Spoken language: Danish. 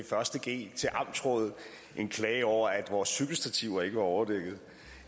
første g til amtsrådet en klage over at vores cykelstativer ikke var overdækket